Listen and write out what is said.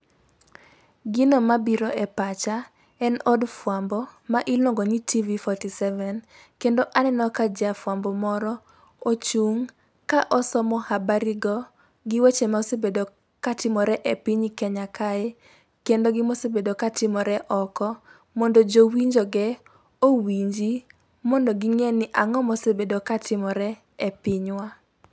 Gino mabiro e pacha en od fwambo ma iluongo ni Tivi 47 kendo a neno ka jafwambo oro ochung' ka osomo habari go gi weche ma osebedo ka timore e piny kenya kae kendo gi mosebedo ka timore oko mondo jowinjo ge owinji mondo ging'e ni ang'o mosebedo ka timore e pinywa.